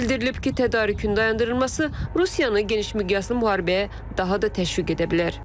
Bildirilib ki, tədarükün dayandırılması Rusiyanı geniş miqyaslı müharibəyə daha da təşviq edə bilər.